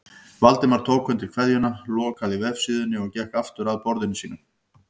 Valdimar tók undir kveðjuna, lokaði vefsíðunni og gekk aftur að borðinu sínu.